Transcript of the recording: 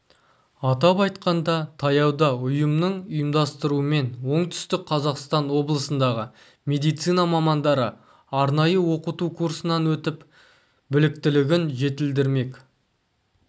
атап айтқанда таяуда ұйымының ұйымдастыруымен оңтүстік қазақстан облысындағы медицина мамандары арнайы оқыту курсынан өтіп біліктілігін жетілдірмек